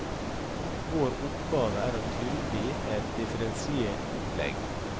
Vår oppgave er å tilby et differensiert opplegg.